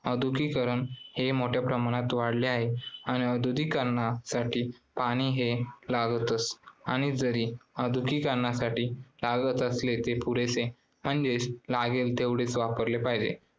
औद्योगीकरण हे मोठ्या प्रमाणात वाढले आहे आणि औद्योगिकरणासाठी पाणी हे हे लागतेच आणि जरी पाणी औद्योगिकरणासाठी लागत असले तर ते पुरेसे म्हणजेच लागेल तेवढेच वापरले पाहिजे.